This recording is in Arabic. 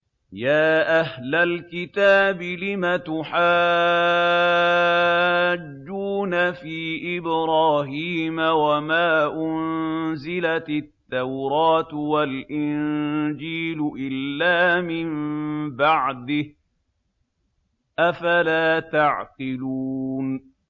يَا أَهْلَ الْكِتَابِ لِمَ تُحَاجُّونَ فِي إِبْرَاهِيمَ وَمَا أُنزِلَتِ التَّوْرَاةُ وَالْإِنجِيلُ إِلَّا مِن بَعْدِهِ ۚ أَفَلَا تَعْقِلُونَ